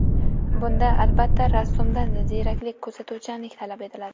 Bunda, albatta, rassomdan ziyraklik, kuzatuvchanlik talab etiladi.